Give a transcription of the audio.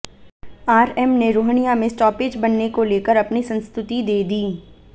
RM ने रोहनिया में stoppage बनने को लेकर अपनी संस्तुति दे दी